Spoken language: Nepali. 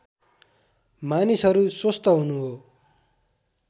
मानिसहरू स्वस्थ हुनु हो